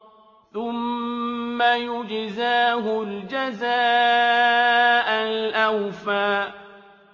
ثُمَّ يُجْزَاهُ الْجَزَاءَ الْأَوْفَىٰ